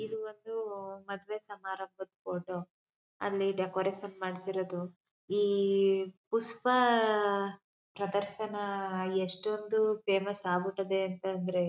ಇದು ಒಂದು ಮದುವೆ ಸಮಾರಂಭದ ಫೋಟೋ ಅಲ್ಲಿ ಡೆಕೋರೇಷನ್ ಮಾಡಿಸಿರೋದು ಈ ಪುಷ್ಪ ಆ ಪ್ರದರ್ಶನ ಎಷ್ಟೊಂದು ಫೇಮಸ್ ಆಗಿ ಬಿಟ್ಟದೆ ಅಂದ್ರೆ--